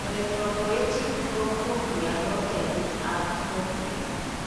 Erythropoetic protoporphyria ko taipit ab porphyria